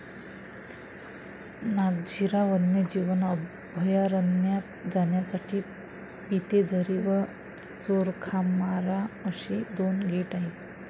नागझिरा वन्यजीव अभयारण्यात जाण्यासाठी पितेझरी व चोरखामारा अशी दोन गेट आहेत